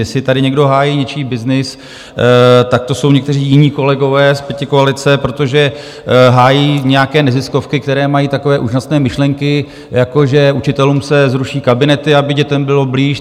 Jestli tady někdo hájí něčí byznys, tak to jsou někteří jiní kolegové z pětikoalice, protože hájí nějaké neziskovky, které mají takové úžasné myšlenky, jako že učitelům se zruší kabinety, aby dětem byli blíž.